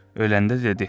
Öləndə dedi.